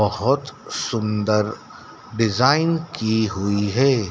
बहुत सुंदर डिजाइन की हुई है।